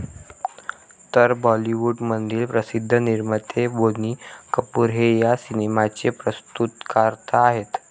तर बॉलीवूडमधील प्रसिध्द निर्माते बोनी कपूर हे या सिनेमाचे प्रस्तुतकर्ता आहेत.